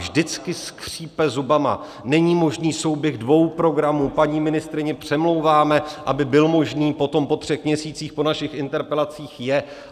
Vždycky skřípe zubama, není možný souběh dvou programů, paní ministryni přemlouváme, aby byl možný, potom po třech měsících po našich interpelacích je.